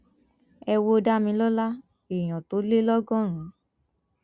ẹ wo damilọla èèyàn tó lé lọgọrùn